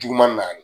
Duguma naani